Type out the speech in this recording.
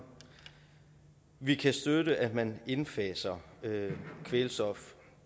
vi kan støtte at man indfaser kvælstof